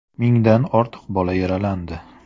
Mingdan ortiq bola yaralandi.